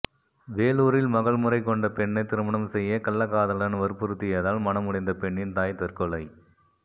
வேலூரில் மகள் முறை கொண்ட பெண்ணை திருமணம் செய்ய கள்ளக்காதலன் வற்புறுத்தியதால் மனமுடைந்த பெண்ணின் தாய் தற்கொலை